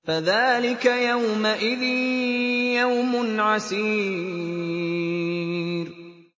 فَذَٰلِكَ يَوْمَئِذٍ يَوْمٌ عَسِيرٌ